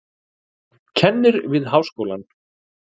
Kennir við háskólann.